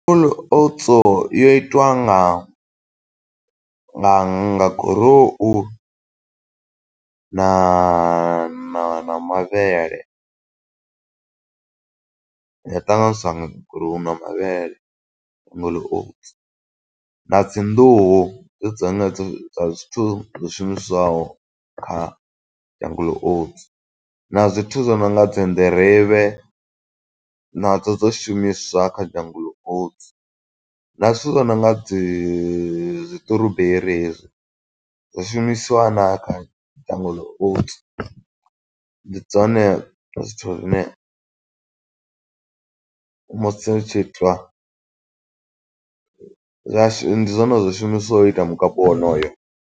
Jungle oats yo yo itiwa nga nga nga gurowu, na na mavhele. Ya ṱanganyiswa na goru na mavhele, Jungle oats, na dzi nḓuhu, ndi dzenedzo dza zwithu zwo shumisiwaho kha Jungle oats. Na zwithu zwo nonga dzi nḓirivhe nadzo dzo shumiswa kha Jungle oats, na zwithu zwo nonga dzi siṱuruberi hezwi, zwo shumisiwa na kha Jungle oats. Ndi dzone zwithu zwine, musi hu tshi itwa, zwashu ndi zwone zwo shumiswaho u ita mukapu wonoyo.